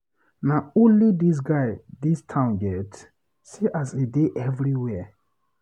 Na only dis guy dis town get? See as he dey everywhere.